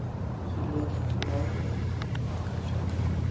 елена ивановна ткачева